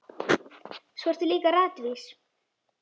Svo ertu líka ratvís.